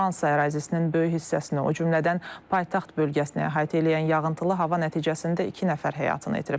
Fransa ərazisinin böyük hissəsini, o cümlədən paytaxt bölgəsini əhatə eləyən yağıntılı hava nəticəsində iki nəfər həyatını itirib.